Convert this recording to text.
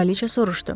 Kraliça soruşdu.